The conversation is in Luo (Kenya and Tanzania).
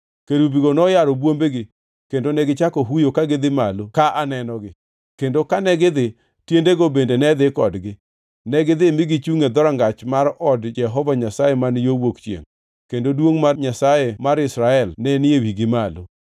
Kerubigo noyaro bwombegi kendo negichako huyo ka gidhi malo ka anenogi, kendo kane gidhi, tiendego bende ne dhi kodgi. Negidhi mi gichungʼ e dhorangach mar od Jehova Nyasaye man yo wuok chiengʼ, kendo duongʼ mar Nyasaye mar Israel ne ni e wigi malo.